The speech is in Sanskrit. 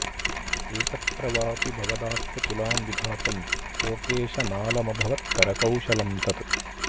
एकत्र वापि भवदास्यतुलां विधातुं लोकेश नालमभवत् करकौशलं तत्